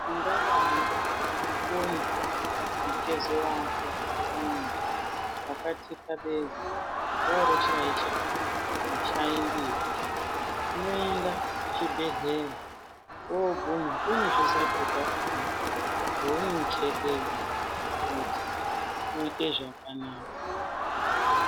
Ungadayi poyi mutezo wako muntu wakathikabeza woro wooshaisha mashandiro unoenda kuzvibhedhlera wooguma kune zvizato zvakhona zveunopfekedzwa kuti uite zvakanaka.